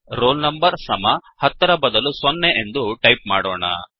roll number ಸಮಹತ್ತರ ಬದಲು 0ಸೊನ್ನೆ ಎಂದು ಟೈಪ್ ಮಾಡೋಣ